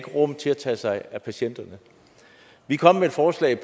rum til at tage sig af patienterne vi kom med et forslag